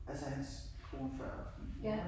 Altså hans kone før min mor, ik